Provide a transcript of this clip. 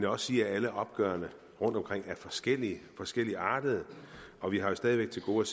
også sige at alle opgørene rundtomkring er forskellige forskelligartede og vi har jo stadig væk til gode